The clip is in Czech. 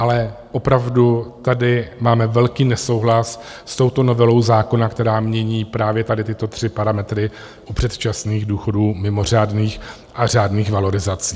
Ale opravdu tady máme velký nesouhlas s touto novelou zákona, která mění právě tady tyto tři parametry u předčasných důchodů, mimořádných a řádných valorizací.